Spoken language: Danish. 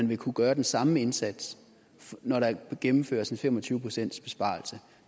vil kunne gøre den samme indsats når der gennemføres en fem og tyve pcts besparelse